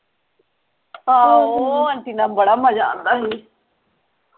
ਆਹੋ ਉਹ ਆਂਟੀ ਨਾਲ ਬੜਾ ਮਜਾ ਆਂਦਾ ਸੀ